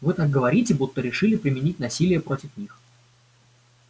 вы так говорите будто решили применить насилие против них